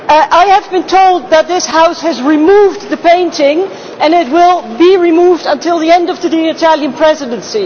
I have been told that this House has removed the painting and it will be removed until the end of the Italian Presidency.